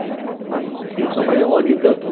Né e eu trabalhei um ano e tanto.